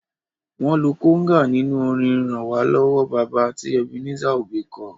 Wọn lo kóngà nínú orin "ràn wá lọ́wọ́ baba" tí Ebenezer Obey ko.